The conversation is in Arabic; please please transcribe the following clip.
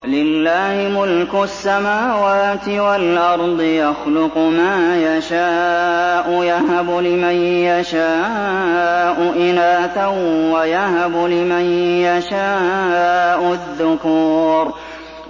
لِّلَّهِ مُلْكُ السَّمَاوَاتِ وَالْأَرْضِ ۚ يَخْلُقُ مَا يَشَاءُ ۚ يَهَبُ لِمَن يَشَاءُ إِنَاثًا وَيَهَبُ لِمَن يَشَاءُ الذُّكُورَ